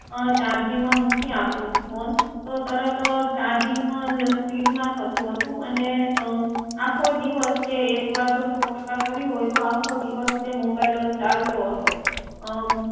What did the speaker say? અં ચાર્જીંગમાં મૂકી આપું ફોન તો તરત ચાર્જીંગ પણ સ્પીડ માં થતું હતું અને આખો દિવસ તે એક વાર સો ટકા કર્યું હોય તો તે આખો દિવસ mobile ચાલતો હતો